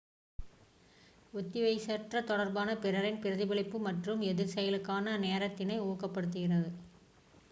ஒத்திசைவற்ற தொடர்பானது பிறரின் பிரதிபலிப்பு மற்றும் எதிர்செயலுக்கான நேரத்தினை ஊக்கப்படுத்துகிறது